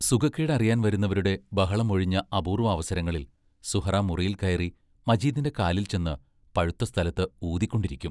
സുഖക്കേട് അറിയാൻ വരുന്നവരുടെ ബഹളം ഒഴിഞ്ഞ അപൂർവാവസരങ്ങളിൽ സുഹ്റാ മുറിയിൽ കയറി മജീദിന്റെ കാലിൽ ചെന്ന് പഴുത്ത സ്ഥലത്ത് ഊതിക്കൊണ്ടിരിക്കും.